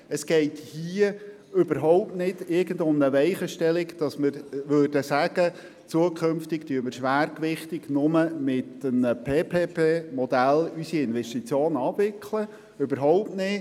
Es geht hier nicht um eine Weichenstellung, mittels welcher wir festlegen würden, dass in Zukunft schwergewichtig mit dem PPP-Modell Investitionen abgewickelt werden.